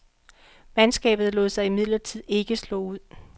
Mandskabet lod sig imidlertid ikke slå ud.